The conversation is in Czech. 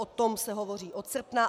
O tom se hovoří od srpna.